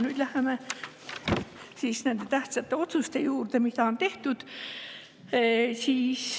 Nüüd läheme nende tähtsate otsuste juurde, mis on tehtud.